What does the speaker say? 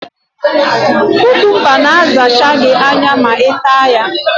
Kukumba ga asacha gị anya ma I taa ya